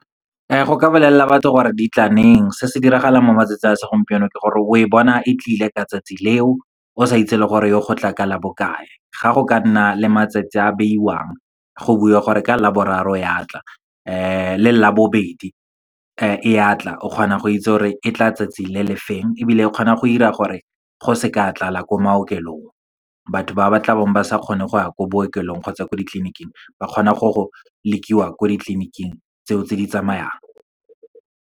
Go ka bolelele batho gore di tla neng. Se se diragalang mo matsatsing a segompieno ke gore, o e bona e tlile ka tsatsi leo, o sa itse le gore yo gotla ka labokae. Ga go ka nna le matsatsi a beiwang, go buiwa gore ka Laboraro ya tla le Labobedi e ya tla, o kgona go itse gore e tla tsatsi le le feng, ebile e kgona go dira gore go seka tlala ko maokelong. Batho ba ba tla bong ba sa kgone go ya ko bookelong kgotsa ko ditleliniking, ba kgona go go lekiwa ko ditleliniking tseo tse di tsamayang.